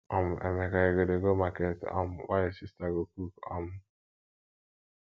um emeka you go dey go market um while your sister go cook um